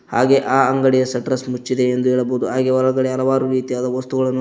ಹಾಗೆ ಆ ಅಂಗಡಿಯ ಶಟರ್ಸ್ ಮುಚ್ಚಿದೆ ಎಂದು ಹೇಳಬಹುದು ಹಾಗೆ ಹೊರಗಡೆ ಹಲವಾರು ರೀತಿಯಾದ ವಸ್ತುಗಳನ್ನು --